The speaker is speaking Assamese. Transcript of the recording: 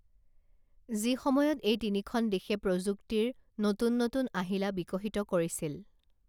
যিসময়ত এই তিনিখন দেশে প্ৰযুক্তিৰ নতুন নতুন আহিলা বিকশিত কৰিছিল